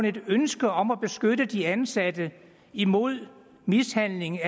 et ønske om at beskytte de ansatte imod mishandling